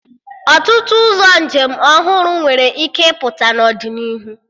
Ọtụtụ ụzọ njem ọhụrụ nwere ike ịpụta n'ọdịnihu